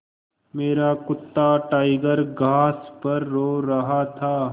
मेरा कुत्ता टाइगर घास पर सो रहा था